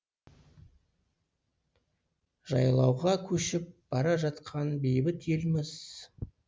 жайлауға көшіп бара жатқан бейбіт елміз